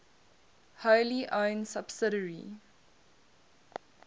wholly owned subsidiary